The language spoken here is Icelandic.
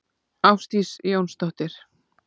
Ásdís Jónsdóttir.